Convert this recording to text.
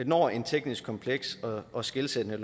når et teknisk kompleks og og skelsættende